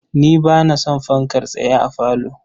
Ni ba na son fankar tsaye a falo.